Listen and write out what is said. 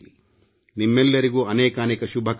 ನಿಮ್ಮೆಲ್ಲರಿಗೂ ಅನೇಕಾನೇಕ ಶುಭಕಾಮನೆಗಳು